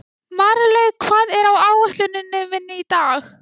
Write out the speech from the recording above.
Marley, hvað er á áætluninni minni í dag?